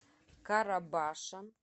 карабаша